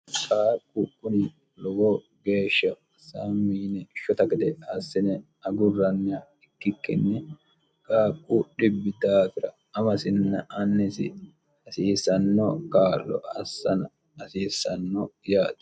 haaqqu kuni lowo geeshsha saamiine shota gede assine agurrann ikkikkinni kaaqqu dhibi taafira amasinna annisi hasiisanno kaarlo assana hasiisanno yaati